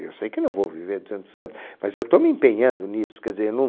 Eu sei que não vou viver duzentos anos, mas eu estou me empenhando nisso. Quer dizer eu não